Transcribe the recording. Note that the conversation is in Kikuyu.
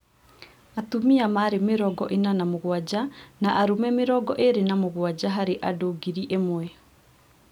Atumia marĩ mĩrongo ĩna na mũgwanja na arũme mĩrongo ĩĩrĩ na mũgwanja harĩ andũ ngiri ĩmwe